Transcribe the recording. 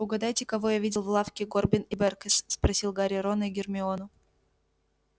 угадайте кого я видел в лавке горбин и бэркес спросил гарри рона и гермиону